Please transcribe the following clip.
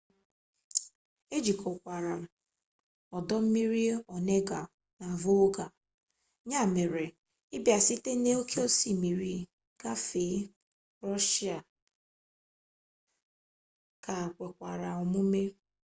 ejikọkwara ọdọ mmiri onega na volga ya mere ịbịa site na oke osimiri gafee rọshịa ka kwekwara omume